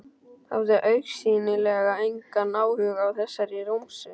Hafði augsýnilega engan áhuga á þessari romsu.